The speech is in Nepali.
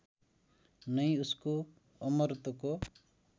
नै उसको अमरत्वको